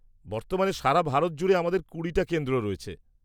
বর্তমানে সারা ভারত জুড়ে আমাদের কুড়িটা কেন্দ্র রয়েছে।